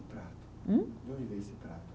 Prato? Hum? De onde veio esse prato?